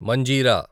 Manjira